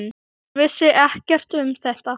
Hann vissi ekkert um þetta.